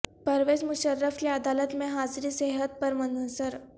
پرویز مشرف کی عدالت میں حاضری صحت پر منحصر